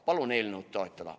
Palun eelnõu toetada!